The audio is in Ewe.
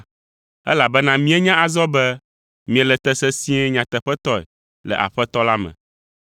Elabena míenya azɔ be miele te sesĩe nyateƒetɔe le Aƒetɔ la me.